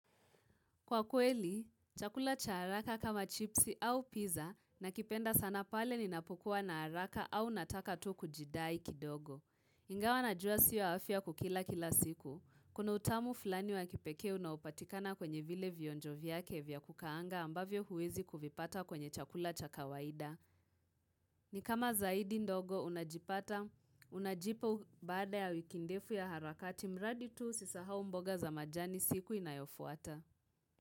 Kwa kweli, chakula cha haraka kama chipsi au pizza nakipenda sana pale ninapokua na haraka au nataka tu kujidai kidogo. Ingawa najua sio afya kukila kila siku. Kuna utamu fulani wa kipekee unaopatikana kwenye vile vionjo vyake vya kukaanga ambavyo huwezi kuvipata kwenye chakula cha kawaida. Ni kama zaidi ndogo unajipa baada ya wiki ndefu ya harakati, mradi tu usisahau mboga za majani siku inayofuata.